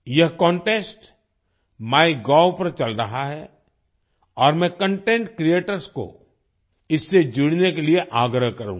यह contest MyGov पर चल रहा है और मैं कंटेंट क्रिएटर्स को इससे जुड़ने के लिए आग्रह करूँगा